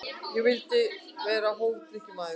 Ég vildi vera hófdrykkjumaður.